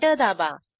enter दाबा